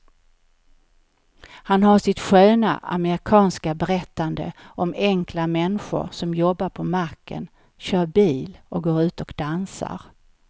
Han har sitt sköna amerikanska berättande om enkla människor som jobbar på macken, kör bil och går ut och dansar.